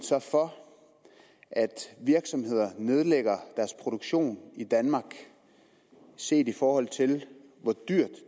for at virksomheder nedlægger deres produktion i danmark set i forhold til hvor dyrt